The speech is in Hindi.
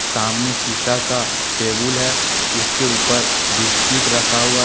सामने शीशा का टेबुल है उसके ऊपर बिस्किट रखा हुआ है।